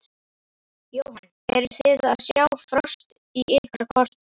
Jóhann: Eruð þið að sjá frost í ykkar kortum?